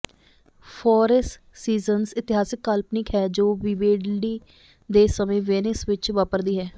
four seasons ਇਤਿਹਾਸਕ ਕਾਲਪਨਿਕ ਹੈ ਜੋ ਵਿਵੇਲਡੀ ਦੇ ਸਮੇਂ ਵੇਨਿਸ ਵਿੱਚ ਵਾਪਰਦੀ ਹੈ